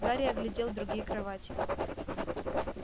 гарри оглядел другие кровати